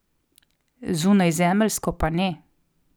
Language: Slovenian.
Zunajzemeljsko pa ne.